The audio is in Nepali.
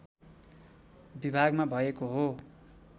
विभागमा भएको हो